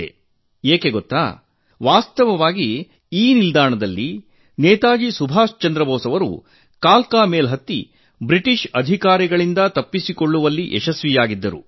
ಅದು ಏಕೆ ಗೊತ್ತೇ ವಾಸ್ತವವಾಗಿ ಈ ನಿಲ್ದಾಣದಲ್ಲಿ ನೇತಾಜಿ ಸುಭಾಷ್ ಅವರು ಕಾಲ್ಕಾ ಮೇಲ್ ರೈಲು ಹತ್ತಿ ಬ್ರಿಟಿಷ್ ಅಧಿಕಾರಿಗಳಿಂದ ತಪ್ಪಿಸಿಕೊಳ್ಳುವಲ್ಲಿ ಯಶಸ್ವಿಯಾಗಿದ್ದರು